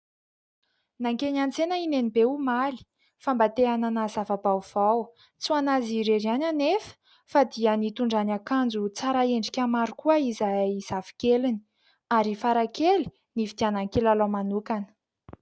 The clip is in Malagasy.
Nankeny an-tsena i Nenibe omaly fa mba te-hanana zava-baovao ; tsy ho an'azy irery ihany anefa fa dia nitondran'ny akanjo tsara endrika maro koa izahay zavikeliny ary i Farakely nividianan'ny kilalao manokana.